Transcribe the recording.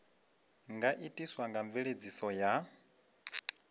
nga itiswa nga mveledziso ya